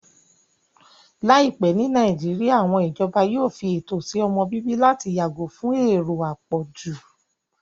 Láìpẹ́ ní Nàìjíríyà, àwọn ìjọba yóò fi ètò sí ọmọ-bíbí láti yàgò fún èrò àpọ̀jù